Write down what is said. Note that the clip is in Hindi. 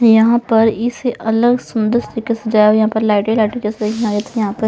यहां पर इसे अलग सुंदर तरीके से जाया यहां पर लाइट लाइट जैसे यहां पर--